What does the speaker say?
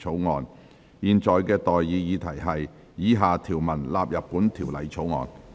我現在向各位提出的待議議題是：以下條文納入本條例草案。